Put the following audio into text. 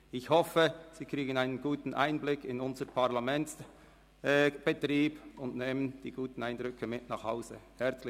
Ich hoffe, dass Sie einen guten Einblick in unseren Parlamentsbetrieb erhalten und gute Eindrücke mit nach Hause nehmen.